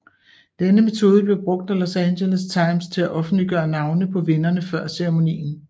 Denne metode blev brugt af Los Angeles Times til at offentliggøre navne på vinderne før ceremonien